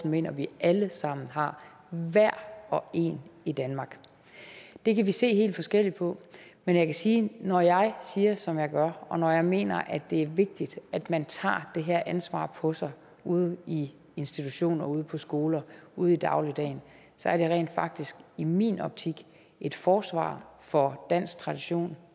mener at vi alle sammen har hver og en i danmark det kan vi se helt forskelligt på men jeg kan sige at når jeg siger som jeg gør og når jeg mener at det er vigtigt at man tager det her ansvar på sig ude i institutioner ude på skoler ude i dagligdagen er det rent faktisk i min optik et forsvar for dansk tradition